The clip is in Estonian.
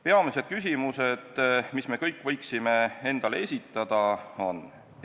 Peamised küsimused, mis me kõik võiksime endale esitada, on järgmised.